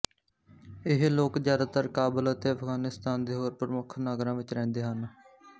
ਇਹ ਲੋਕ ਜਿਆਦਾਤਰ ਕਾਬਲ ਅਤੇ ਅਫ਼ਗ਼ਾਨਿਸਤਾਨ ਦੇ ਹੋਰ ਪ੍ਰਮੁੱਖ ਨਗਰਾਂ ਵਿੱਚ ਰਹਿੰਦੇ ਹਨ